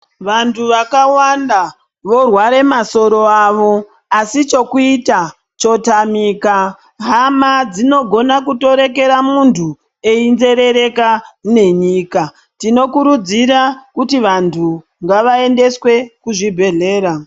Vanthu vakawanda vorware masoro avo asi chekuita chotamika hama dzinogone kutoreekere munthu einzerereke nenyika tinokurudzira kuti vanthu ngavaendeswe kuzvibhedhlera.